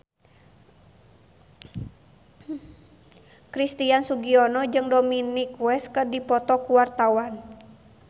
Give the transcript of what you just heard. Christian Sugiono jeung Dominic West keur dipoto ku wartawan